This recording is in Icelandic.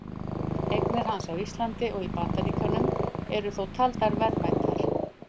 Eignir hans á Íslandi og í Bandaríkjunum eru þó taldar verðmætar.